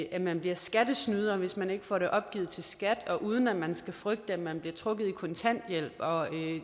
at man bliver skattesnyder hvis man ikke får det opgivet til skat og uden at man skal frygte at man bliver trukket i kontanthjælp og